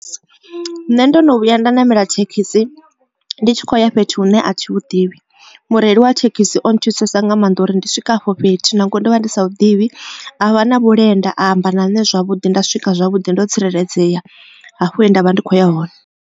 Nṋe ndo no vhuya nda ṋamela thekhisi ndi tshi kho ya fhethu hune a thi hu ḓivhi mureili wa thekhisi o nthusesa nga maanḓa uri ndi swika afho fhethu na ngori ndo vha ndi sa hu ḓivhi a vha na vhulenda a amba na ṋne zwavhuḓi nda swika zwavhuḓi ndo tsireledzea hafho he ndavha ndi kho ya hone.